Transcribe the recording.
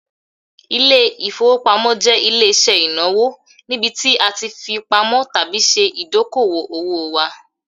Ilé-ìfowópamọ́ jẹ ile-iṣẹ inawo nibiti a ti fipamọ tabi ṣe idoko-owo wa